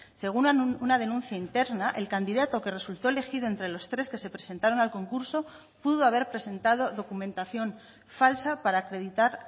según una denuncia interna el candidato que resultó elegido entre los tres que se presentaron al concurso pudo haber presentado documentación falsa para acreditar